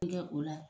kɛ o la